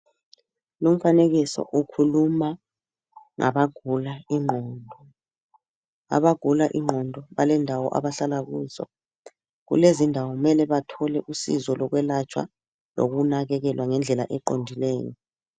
Lumfanekiso ukhuluma ngabagula ingqondo, abagula ingqondo balendawo abahlala kuzo. Kulezo indawo kumele bathole usizo lokwelapha lokunakakelwa ngendlela eqondileyo.